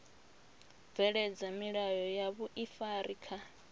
bveledza milayo ya vhuifari kha